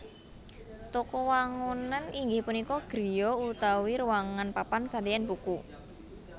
Toko wangunan inggih punika griya utawi ruwangan papan sadean buku